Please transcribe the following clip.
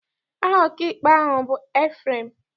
Aha ọkaikpe ahụ bụ Ebreham.